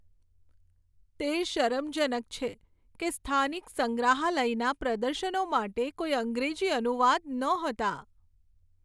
તે શરમજનક છે કે સ્થાનિક સંગ્રહાલયના પ્રદર્શનો માટે કોઈ અંગ્રેજી અનુવાદ નહોતા.